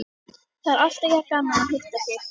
Það er alltaf jafn gaman að hitta þig.